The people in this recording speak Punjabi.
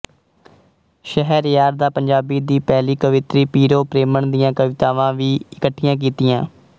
ਸ਼ਹਿਰਯਾਰ ਦਾ ਪੰਜਾਬੀ ਦੀ ਪਹਿਲੀ ਕਵੀਤਰੀ ਪੀਰੋ ਪ੍ਰੇਮਣ ਦੀਆਂ ਕਵਿਤਾਵਾਂ ਵੀ ਇਕਠੀਆਂ ਕੀਤੀਆਂ